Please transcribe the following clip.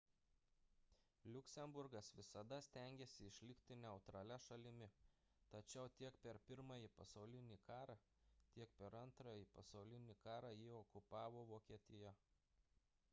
liuksemburgas visada stengėsi išlikti neutralia šalimi tačiau tiek per pirmąjį pasaulinį karą tiek per antrąjį pasaulinį karą jį okupavo vokietija